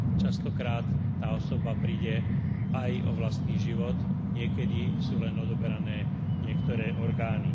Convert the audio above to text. Častokrát tá osoba príde aj o vlastný život, niekedy sú len odoberané niektoré orgány.